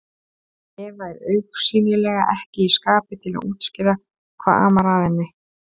Eva er augsýnilega ekki í skapi til að útskýra hvað amar að henni.